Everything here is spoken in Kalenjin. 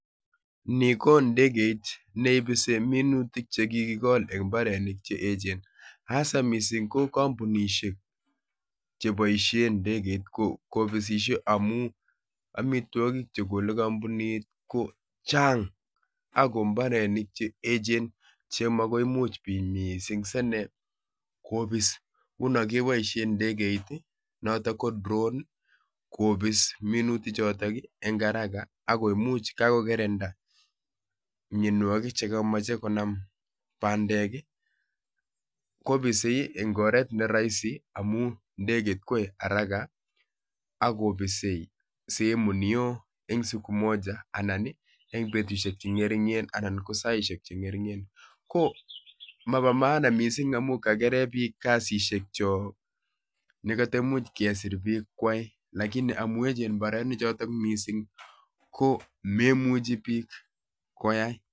Ni ko ndegeit ne ibisi minutik che kikigol en mbarenik che echen. Hasa missing ko kampunishiek che boisie ndegeit um kobisishie amuu amitwogik chegole kampunit ko chang' ago mbarenik che echen, che makoimuch biik missing sine kobis, nguno keboisie ndegeit, notok ko drone kobis minutik chotok eng' haraka akoimuch kakokerenda mianwogik che kameche konam bandek, kobisi eng' oret ne rahisi, amuu ndegeit koae haraka agobisei sehemu neoo, eng' siku moja anan eng' betushiek che ngerigen anan ko saishek che ngeringen. Ko mobo maana missing amu kakeren biik kasishiek chok. Ne katamuch kesir biik kwai, lakini amu echen mbarenik chotok missing, ko memuchi biik koyai